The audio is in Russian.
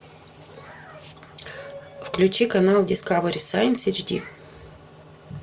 включи канал дискавери сайнс эйч ди